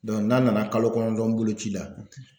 n'a nana kalo kɔnɔntɔn boloci la